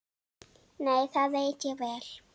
Nei, það veit ég vel.